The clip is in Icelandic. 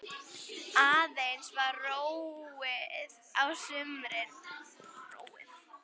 Aðeins var róið á sumrin.